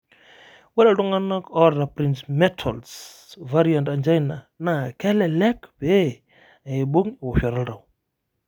ore iltung'anak oota Prinzmetal's variant angina naa kelelek pee eibung ewoshoto oltau .